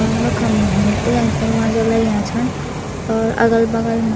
और वखम भूरे कलर क दरवाजा लग्याँ छन और अगल-बगल मा --